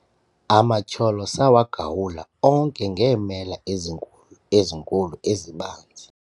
amatyholo sawagawula onke ngeemela ezinkulu ezinkulu ezibanzi